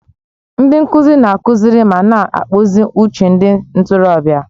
Ndị nkuzi na-akụziri ma na-akpụzi uche ndị ntorobịa.